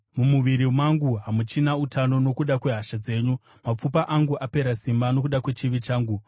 Mumuviri mangu hamuchina utano nokuda kwehasha dzenyu; mapfupa angu apera simba nokuda kwechivi changu.